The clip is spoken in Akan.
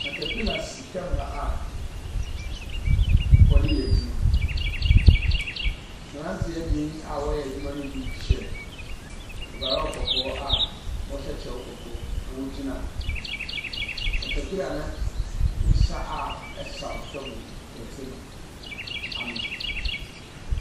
Katapila si fam ha a wɔde yɛ adwuma. Mmeranteɛ bi a wɔyɛ adwuma no bi hyɛ ɔbɔɔ kɔkɔɔ aɔhyɛ kyɛw kɔkɔɔ na ɔgyina katapila no nsa a ɛsaw fam no dɔte no ano.